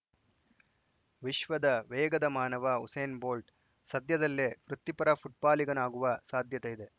ವಿಶ್ವದ ವೇಗದ ಮಾನವ ಉಸೇನ್‌ ಬೋಲ್ಟ್‌ ಸದ್ಯದಲ್ಲೇ ವೃತ್ತಿಪರ ಫುಟ್ಬಾಲಿಗನಾಗುವ ಸಾಧ್ಯತೆ ಇದೆ